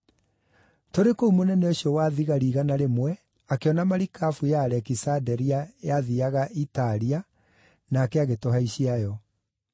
Tũrĩ kũu mũnene ũcio wa thigari igana rĩmwe akĩona marikabu ya Alekisanderia yathiiaga Italia, nake agĩtũhaicia yo.